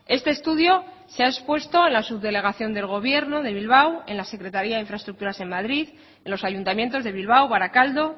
este estudio se ha expuesto en la subdelegación del gobierno de bilbao en la secretaría de infraestructuras en madrid en los ayuntamientos de bilbao barakaldo